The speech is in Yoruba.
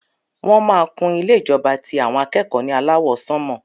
Wọn má kún ilé ìjọba ti àwọn akẹ́kọ̀ọ́ ní alawọ sanmọ.